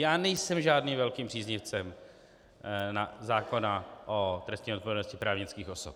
Já nejsem žádným velkým příznivcem zákona o trestní odpovědnosti právnických osob.